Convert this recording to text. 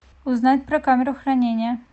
узнать про камеру хранения